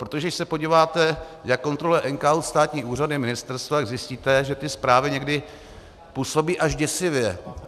Protože když se podíváte, jak kontroluje NKÚ státní úřady, ministerstva, tak zjistíte, že ty zprávy někdy působí až děsivě.